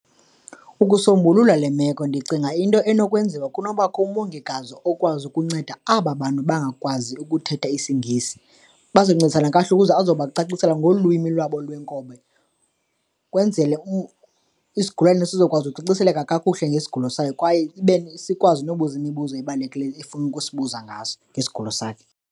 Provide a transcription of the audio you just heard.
Ukusombulula le meko ndicinga into enokwenziwa kunobakho umongikazi okwazi ukunceda aba bantu bangakwazi ukuthetha isiNgesi. Baza kuncedisa nakakuhle ukuze azokubacacisela ngolwimi lwabo lwenkobe ukwenzele isigulane sizokwazi ucaciseleke kakuhle ngesigulo sayo kwaye ibe sikwazi nobuza imibuzo ebalulekileyo efuna ukusibuza ngaso ngesigulo sakhe.